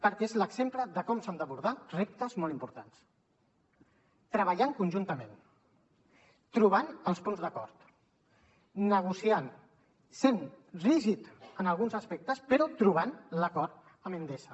perquè és l’exemple de com s’han d’abordar reptes molt importants treballant conjuntament trobant els punts d’acord negociant sent rígids en alguns aspectes però trobant l’acord amb endesa